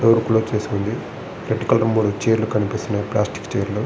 Road block చేసి ఉంది red colour చైర్లు కనిపిస్తున్నాయి ప్లాస్టిక్ ఛైర్లు .